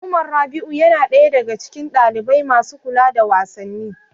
Umar Rabi'u yana ɗaya daga cikin ɗalibai masu kula da wasanni.